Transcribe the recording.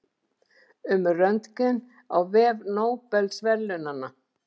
Um Röntgen á vef Nóbelsverðlaunanna.